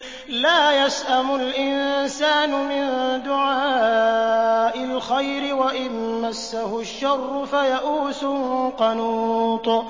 لَّا يَسْأَمُ الْإِنسَانُ مِن دُعَاءِ الْخَيْرِ وَإِن مَّسَّهُ الشَّرُّ فَيَئُوسٌ قَنُوطٌ